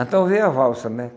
Então veio a valsa, né?